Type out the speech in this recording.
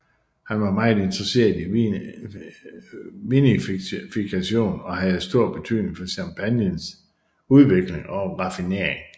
Han var meget interesseret i vinifikation og havde stor betydning for champagnens udvikling og raffinering